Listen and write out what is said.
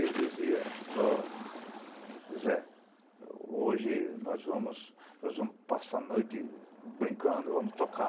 Ele dizia, O Zé, hoje nós vamos passar a noite brincando, vamos tocar.